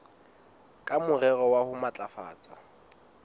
ka morero wa ho matlafatsa